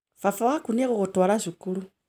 Baba waku nĩ egũgũtwara cukuru